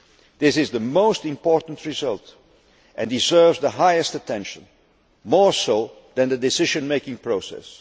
This is the most important result and deserves the highest attention, more so than the decision making process.